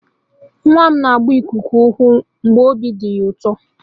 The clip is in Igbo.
Nwa m na-agba ikuku ụkwụ mgbe obi dị ya ụtọ.